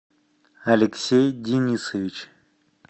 алексей денисович